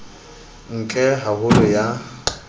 e ntle ha holo ya